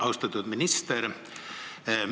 Austatud minister!